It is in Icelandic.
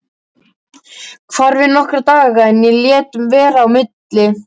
Hvarf í nokkra daga en lét vera í milli.